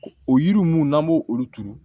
O yiri ninnu n'an b'o olu turu